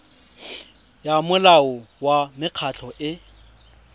ya molao wa mekgatlho e